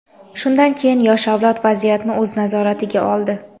shundan keyin yosh avlod vaziyatni o‘z nazoratiga oldi.